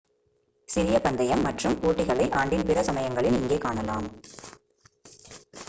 சிறிய பந்தயம் மற்றும் போட்டிகளை ஆண்டின் பிற சமயங்களில் இங்கே காணலாம்